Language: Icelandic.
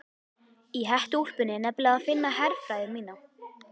Í hettuúlpunni er nefnilega að finna herfræði mína.